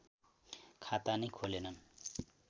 खाता नै खोलेनन्